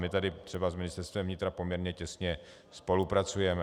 My tady třeba s Ministerstvem vnitra poměrně těsně spolupracujeme.